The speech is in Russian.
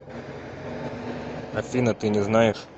афина ты не знаешь